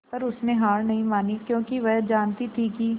पर उसने हार नहीं मानी क्योंकि वह जानती थी कि